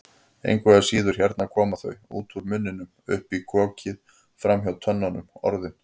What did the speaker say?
Engu að síður, hérna koma þau, út úr munninum, upp um kokið, framhjá tönnunum, Orðin.